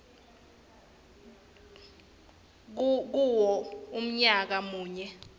kuwo umnyaka munye